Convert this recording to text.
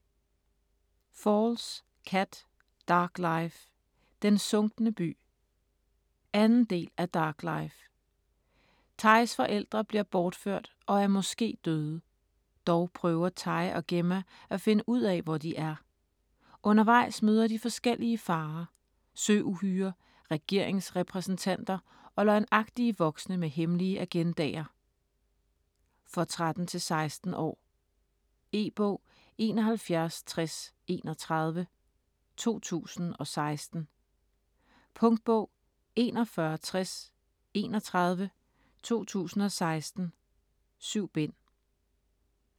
Falls, Kat: Dark life: Den sunkne by 2. del af Dark life. Tys forældre bliver bortført og er måske døde. Dog prøver Ty og Gemma at finde ud af hvor de er. Undervejs møder de forskellige farer; søuhyrer, regeringsrepræsentanter og løgnagtige voksne med hemmelige agendaer. For 13-16 år. E-bog 716031 2016. Punktbog 416031 2016. 7 bind.